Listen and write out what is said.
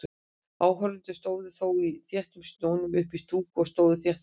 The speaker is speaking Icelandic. Áhorfendur stóðu þó í þéttum snjónum uppí stúku og stóðu þétt saman.